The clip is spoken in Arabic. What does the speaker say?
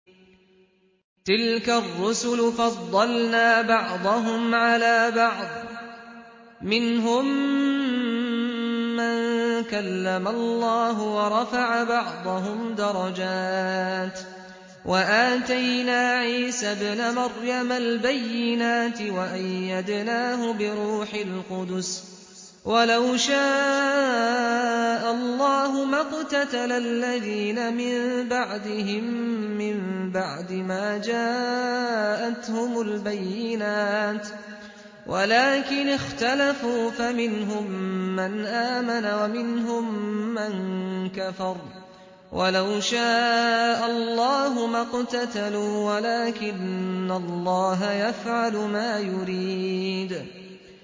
۞ تِلْكَ الرُّسُلُ فَضَّلْنَا بَعْضَهُمْ عَلَىٰ بَعْضٍ ۘ مِّنْهُم مَّن كَلَّمَ اللَّهُ ۖ وَرَفَعَ بَعْضَهُمْ دَرَجَاتٍ ۚ وَآتَيْنَا عِيسَى ابْنَ مَرْيَمَ الْبَيِّنَاتِ وَأَيَّدْنَاهُ بِرُوحِ الْقُدُسِ ۗ وَلَوْ شَاءَ اللَّهُ مَا اقْتَتَلَ الَّذِينَ مِن بَعْدِهِم مِّن بَعْدِ مَا جَاءَتْهُمُ الْبَيِّنَاتُ وَلَٰكِنِ اخْتَلَفُوا فَمِنْهُم مَّنْ آمَنَ وَمِنْهُم مَّن كَفَرَ ۚ وَلَوْ شَاءَ اللَّهُ مَا اقْتَتَلُوا وَلَٰكِنَّ اللَّهَ يَفْعَلُ مَا يُرِيدُ